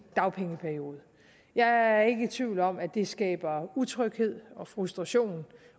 dagpengeperiode jeg er ikke i tvivl om at det skaber utryghed frustration